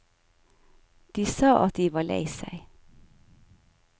De sa at de var lei seg.